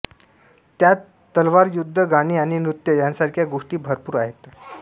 त्यात तलवारयुद्ध गाणे आणि नृत्य यासारख्या गोष्टी भरपूर आहेत